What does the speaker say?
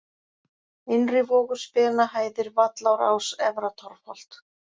Innrivogur, Spenahæðir, Vallárás, Efra-Torfholt